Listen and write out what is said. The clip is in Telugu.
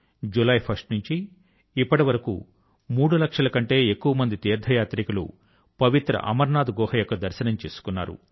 జులై 1వ తేదీ నుంచి ఇప్పటి వరకు మూడు లక్షల కంటే ఎక్కువ మంది తీర్థ యాత్రికులు పవిత్ర అమరనాథ్ గుహ యొక్క దర్శనం చేసుకున్నారు